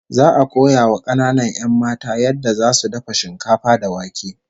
Za'a koya wa kananan 'yan matan yadda zasu dafa shinkafa da wake